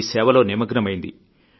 ఈ సేవలో నిమగ్నమైంది